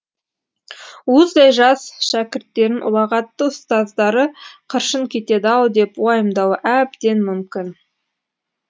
уыздай жас шәкірттерін ұлағатты ұстаздары қыршын кетеді ау деп уайымдауы әбден мүмкін